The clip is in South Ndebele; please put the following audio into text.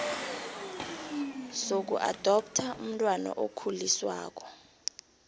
sokuadoptha umntwana okhuliswako